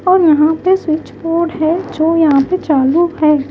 और यहां पे स्विच बोर्ड है जो यहां पे चालू है।